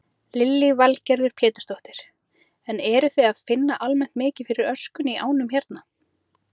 Lillý Valgerður Pétursdóttir: En eruð þið að finna almennt mikið fyrir öskunni í ánum hérna?